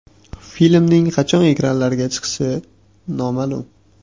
Filmning qachon ekranlarga chiqishi noma’lum.